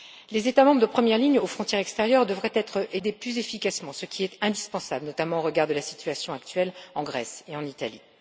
Les États membres en première ligne aux frontières extérieures devraient être aidés plus efficacement, ce qui est indispensable, notamment au regard de la situation actuelle en Grèce et en Italie.